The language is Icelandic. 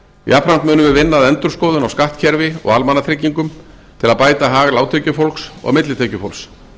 jafnframt munum við vinna að endurskoðun á skattkerfi og almannatryggingum til að bæta hag lágtekjufólks og millitekjufólks